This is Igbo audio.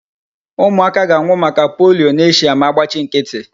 Ụmụaka ga-anwụ maka polio n'Asia ma agbachị nkịtị.